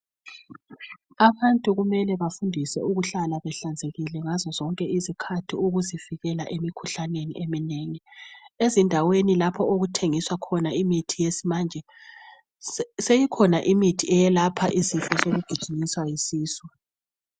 Abantu kumele bafundiswe ukuhlala behlanzekile ngazozonke izikhathi ukuzivikela emikhuhlaneni eminengi. Ezindaweni lapho okuthengiswa khona imithi yesimanje si seyikhona imithi eyelapha isifo sokugijinyiswa yisisu.